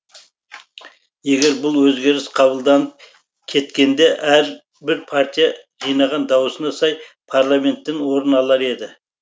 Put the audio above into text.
егер бұл өзгеріс қабылданып кеткенде әрбір партия жинаған дауысына сай парламенттен орын алар еді